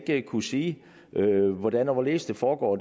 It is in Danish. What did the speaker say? ikke kunne sige hvordan og hvorledes det foregår